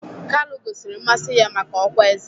Kalu gosiri mmasị ya maka ọkwá eze